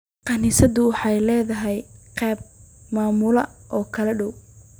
Kaniisaddu waxay leedahay qaab maamul oo kala duwan.